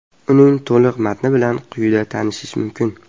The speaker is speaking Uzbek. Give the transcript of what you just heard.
Uning to‘liq matni bilan quyida tanishish mumkin.